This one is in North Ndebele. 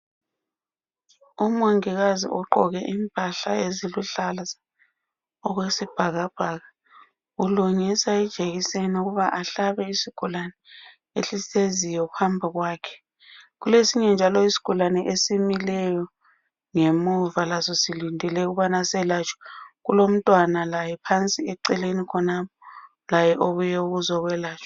Umongikazi ugqoke izigqoko eziluhlaza okwesibhakabhaka ukungisa ijekiseni ukuba ahlabe isigulani esihleziyo phambi kwakhe kulesinye njalo izigulani esimileyo phambi kwakhe esimileyo ngemuva laso silindele ukubana selatshwe kulomntwana laye phansi oceleni khonapho laye ubuye ukuzoyelatshwa